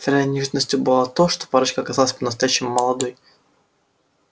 первой неожиданностью было то что парочка оказалась по-настоящему молодой